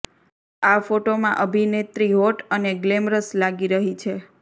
આ ફોટોમાં અભિનેત્રી હોટ અને ગ્લેમરસ લાગી રહી છે